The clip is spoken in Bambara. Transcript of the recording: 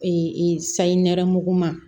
Ee sayi nɛrɛmuguma